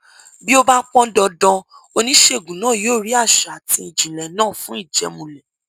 bí ó bá pọn dandan oníṣègùn náà yóò rí àṣà àti ìjìnlẹ náà fún ìjẹmúlẹ